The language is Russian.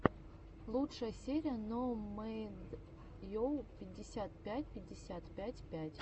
лучшая серия ноумэдйу пятьдесят пять пятьдесят пять пять